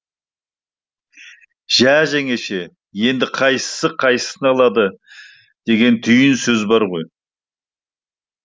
жә жеңеше енді қайсысы қайсысын алады деген түйін сөз бар ғой